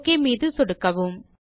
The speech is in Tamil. ஒக் மீது சொடுக்குவோம்